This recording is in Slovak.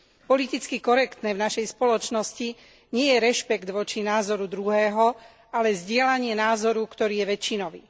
Politicky korektné v našej spoločnosti nie je rešpekt voči názoru druhého, ale zdieľanie názoru, ktorý je väčšinový.